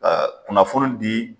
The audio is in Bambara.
kunnafoni di